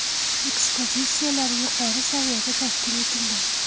Ekspozitsiyalar yuqori saviyada tashkil etilgan.